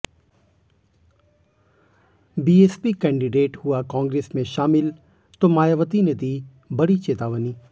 BSP candidate हुआ कांग्रेस में शामिल तो मायावती ने दी बड़ी चेतावनी